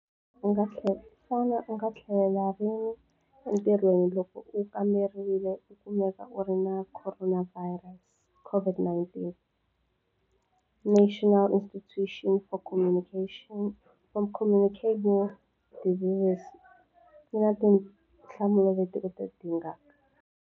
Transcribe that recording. Xana u nga tlhelela rini entirhweni loko u kamberiwile u kumeka u ri na khoronavhayirasi, COVID-19? National Institute for Communicable Diseases yi na tinhlamulo leti u ti dingaka.